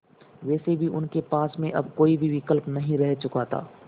वैसे भी उनके पास में अब कोई भी विकल्प नहीं रह चुका था